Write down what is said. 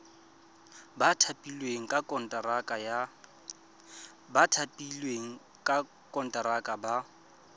ba thapilweng ka konteraka ba